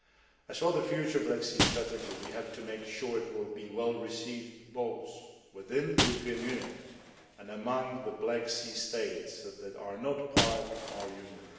As for the future Black Sea Strategy, we have to make sure it will be well received both within the European Union and among the Black Sea States that are not part of our Union.